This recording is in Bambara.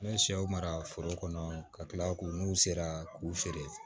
N bɛ sɛw mara foro kɔnɔ ka tila k'u n'u sera k'u feere